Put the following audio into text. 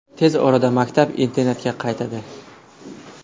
Tez orada maktab-internatga qaytadi.